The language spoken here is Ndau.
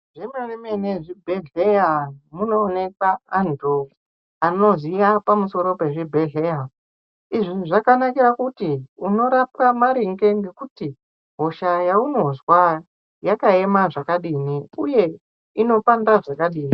Zvemene mene zvibhedhleya munooneka antu anoziya pamusoro pezvibhedhleya izvi zvakanakaira kuti unorapwa maringe ngekuti hosha yaunozwa yakaema zvakadini uye inopanda zvakadini.